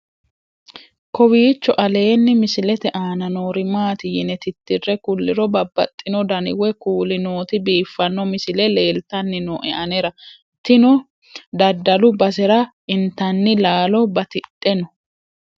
kowiicho aleenni misilete aana noori maati yine titire kulliro babaxino dani woy kuuli nooti biiffanno misile leeltanni nooe anera tino dadalu basera intanni laalo batidhe no